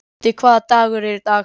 Gutti, hvaða dagur er í dag?